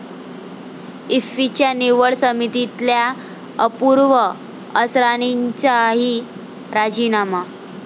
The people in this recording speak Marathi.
इफ्फीच्या निवड समितीतल्या अपूर्व असरानींचाही राजीनामा